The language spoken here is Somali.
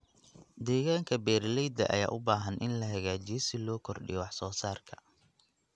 Deegaanka beeralayda ayaa u baahan in la hagaajiyo si loo kordhiyo wax soo saarka.